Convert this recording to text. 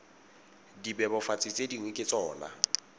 dibebofatsi tse dingwe ke tsona